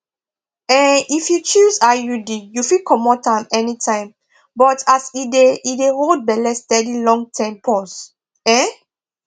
um if you choose iud you fit comot am anytime but as e dey e dey hold belle steady longterm pause um